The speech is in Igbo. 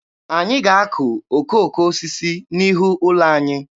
Anyị ga-akụ okooko osisi n'ihu ụlọ anyị.